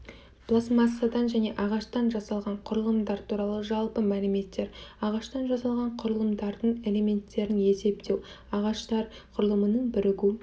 пластмассадан және ағаштан жасалған құрылымдар туралы жалпы мәліметтер ағаштан жасалған құрылымдардың элементтерін есептеу ағаштар құрылымының бірігу